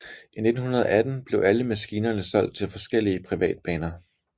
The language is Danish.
I 1918 blev alle maskinerne solgt til forskellige privatbaner